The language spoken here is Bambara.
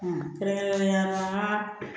kɛrɛnkɛrɛnnenya la